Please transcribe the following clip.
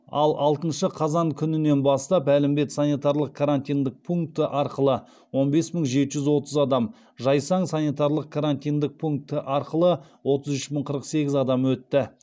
ал алтыншы қазан күнінен бастап әлімбет санитарлық карантиндік пункті арқылы он бес мың жеті жүз отыз адам жайсаң санитарлық карантиндік пункті арқылы отыз үш мың қырық сегіз адам өтті